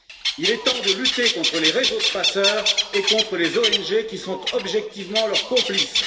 Il est temps de lutter contre les réseaux de passeurs et contre les ONG qui sont objectivement leurs complices.